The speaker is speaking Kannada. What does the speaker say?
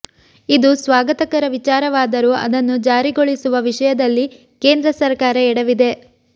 ಇದು ಸ್ವಾಗತಕರ ವಿಚಾರವಾದರೂ ಅದನ್ನು ಜಾರಿಗೊಳಿಸುವ ವಿಷಯದಲ್ಲಿ ಕೇಂದ್ರ ಸರಕಾರ ಎಡವಿದೆ